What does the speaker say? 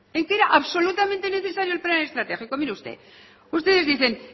en que era absolutamente necesario el plan estratégico mire usted ustedes dicen